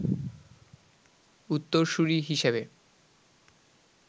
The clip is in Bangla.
উত্তরসুরী হিসেবে